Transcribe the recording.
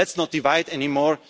together. Let's not be divided